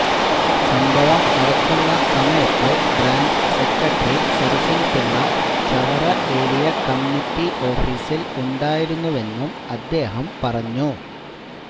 സംഭവം നടക്കുന്ന സമയത്ത് branch secretary സരസന്പിള്ള Chavara area committee ഓഫീസില് ഉണ്ടായിരുന്നൂവെന്നും അദ്ദേഹം പറഞ്ഞു